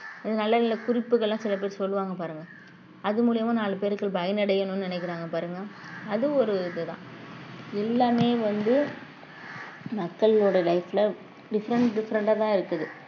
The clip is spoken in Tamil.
ஆஹ் நல்ல நல்ல குறிப்புகள்லாம் சில பேர் சொல்லுவாங்க பாருங்க அது மூலியமா நாலு பேர்கள் பயனடையணும்ன்னு நினைக்கிறாங்க பாருங்க அது ஒரு இதுதான் எல்லாமே வந்து மக்களோட life ல different different ஆ தான் இருக்குது